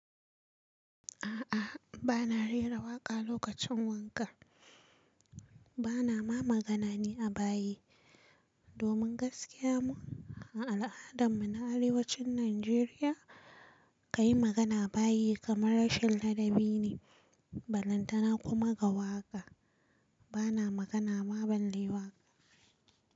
A'a, ba na rera waƙa lokacin wanka. Ba na ma magana ne a bayi. Domin gaskiya mu, a al'adan mu na arewacin Najeriya, ka yi magana a bayi kamar rashin ladabi ne. Balantana kuma ga waƙa, ba na magana ma balle waƙa.